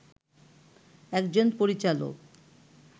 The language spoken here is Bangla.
একজন পরিচালক